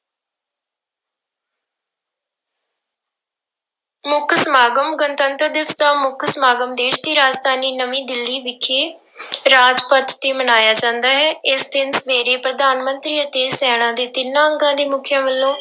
ਮੁੱਖ ਸਮਾਗਮ, ਗਣਤੰਤਰ ਦਿਵਸ ਦਾ ਮੁੱਖ ਸਮਾਗਮ ਦੇਸ ਦੀ ਰਾਜਧਾਨੀ ਨਵੀਂ ਦਿੱਲੀ ਵਿਖੇ ਰਾਜਪਥ ਤੇ ਮਨਾਇਆ ਜਾਂਦਾ ਹੈ, ਇਸ ਦਿਨ ਸਵੇਰੇ ਪ੍ਰਧਾਨ ਮੰਤਰੀ ਅਤੇ ਸੈਨਾ ਦੇ ਤਿੰਨਾਂ ਅੰਗਾਂ ਦੇ ਮੁੱਖੀਆਂ ਵੱਲੋਂ